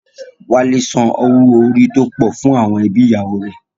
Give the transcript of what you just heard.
Wálé san owó orí tó pọ̀ fún àwọn ẹbí ìyàwó rẹ̀